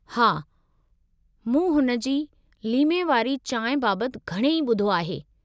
हा, मूं हुन जी लीमे वारी चांहि बाबतु घणई ॿुधो आहे।